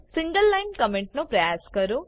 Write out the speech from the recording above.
single line comment નો પ્રયાસ કરો